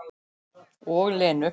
Og Lenu.